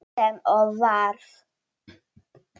Sem og varð.